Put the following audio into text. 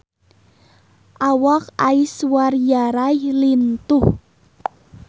Awak Aishwarya Rai lintuh